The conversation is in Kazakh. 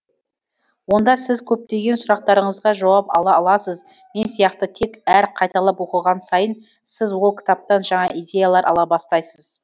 онда сіз көптеген сұрақтарыңызға жауап ала аласыз мен сияқты тек әр қайталап оқыған сайын сіз ол кітаптан жаңа идеялар ала бастайсыз